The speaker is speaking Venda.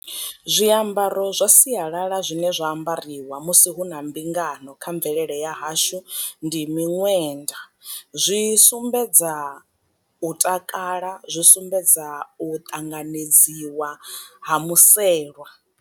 Zwiambaro zwa sialala zwine zwa ambariwa musi hu na mbingano kha mvelele ya hashu ndi miṅwenda, zwi sumbedza u takala zwi sumbedza u ṱanganedziwa ha muselwa.